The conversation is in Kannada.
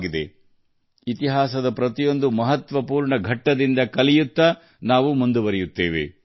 ನಾವು ಇತಿಹಾಸದ ಪ್ರತಿಯೊಂದು ಪ್ರಮುಖ ಹಂತದಿಂದ ಕಲಿಯುತ್ತಾ ಮುನ್ನಡೆಯಬೇಕಿದೆ